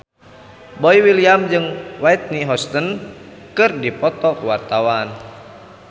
Boy William jeung Whitney Houston keur dipoto ku wartawan